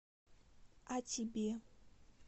а тебе